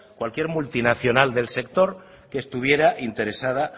cualquier multinacional del sector que estuviera interesado